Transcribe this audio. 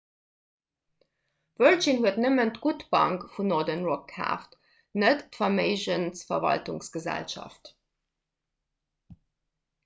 virgin huet nëmmen d''gutt bank' vun northern rock kaaft net d'verméigensverwaltungsgesellschaft